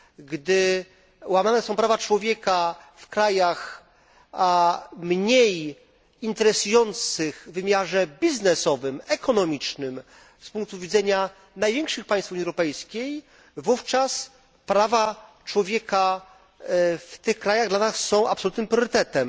Gdy łamane są prawa człowieka w krajach mniej interesujących w wymiarze biznesowym, ekonomicznym z punktu widzenia największych państw Unii Europejskiej, wówczas prawa człowieka w tych krajach są dla nas absolutnym priorytetem.